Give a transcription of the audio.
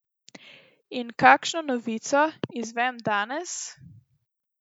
In kakšno novico izvem danes?